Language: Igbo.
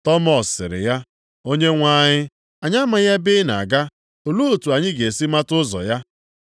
Tọmọs sịrị ya, “Onyenwe anyị, anyị amaghị ebe ị na-aga, olee otu anyị ga-esi mata ụzọ ya?”